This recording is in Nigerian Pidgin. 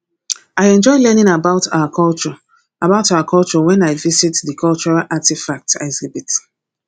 i enjoy learning about our culture about our culture when i visit the cultural artifacts exhibit